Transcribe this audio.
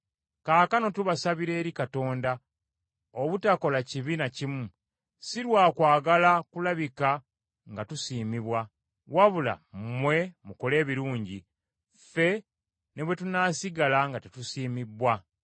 Kaakano tubasabira eri Katonda obutakola kibi na kimu, si lwa kwagala kulabika nga tusiimibwa, wabula mmwe mukole ebirungi, ffe ne bwe tunaasigala nga tetusiimibbwa.